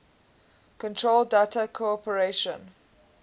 control data corporation